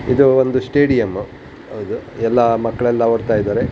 ಇದು ಒಂದು ಸ್ಟೇಡಿಯಂ ಎಲ್ಲ ಮಕ್ಕಳೆಲ್ಲ ಓಡ್ತಾ ಇದ್ದಾರೆ.